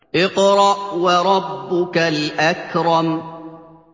اقْرَأْ وَرَبُّكَ الْأَكْرَمُ